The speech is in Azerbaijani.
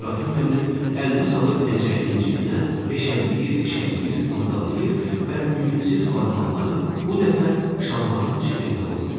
İbrahim müəllim əlini salır pencəyinin cibinə, eşələyir, eşələyir, qurtdalayır və ümidsiz barmaqları bu dəfə şalvarın cibində oynayır.